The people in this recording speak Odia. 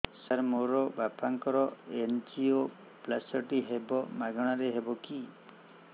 ସାର ମୋର ବାପାଙ୍କର ଏନଜିଓପ୍ଳାସଟି ହେବ ମାଗଣା ରେ ହେବ କି